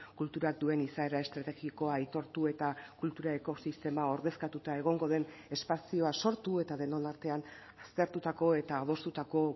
kulturatuen izaera estrategikoa aitortu eta kultura ekosistema ordezkatuta egongo den espazioa sortu eta denon artean aztertutako eta adostutako